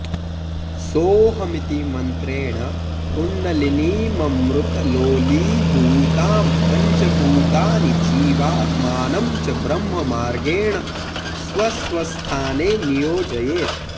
सोऽहमिति मन्त्रेण कुण्डलिनीममृतलोलीभूतां पञ्चभूतानि जीवात्मानं च ब्रह्ममार्गेण स्वस्वस्थाने नियोजयेत्